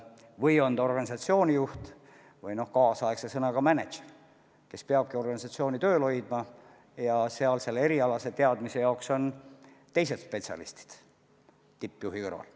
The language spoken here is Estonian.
Vahest on ta pigem organisatsiooni juht või kaasaegse sõnaga mänedžer, kes peab organisatsiooni töös hoidma, ja erialaste teadmistega on teised spetsialistid, kes tegutsevad tippjuhi kõrval.